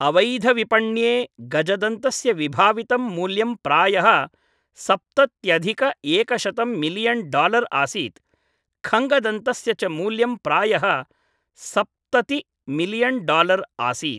अवैधविपण्ये गजदन्तस्य विभावितं मूल्यं प्रायः सप्तत्यधिक एकशतं मिलीयन् डालर् आसीत्, खङ्गदन्तस्य च मूल्यं प्रायः सप्तति मिलीयन् डालर् आसीत्।